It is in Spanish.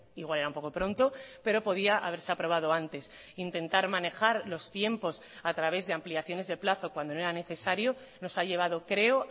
igual era un poco pronto pero podía haberse aprobado antes intentar manejar los tiempos a través de ampliaciones de plazo cuando no era necesario nos ha llevado creo